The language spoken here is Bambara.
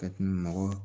Ka nɔgɔ